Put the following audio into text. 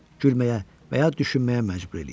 Gülməyə və ya düşünməyə məcbur eləyirdi.